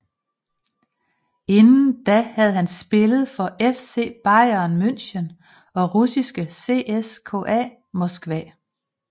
Inden da havde han spillet for FC Bayern Munchen og russiske CSKA Moskva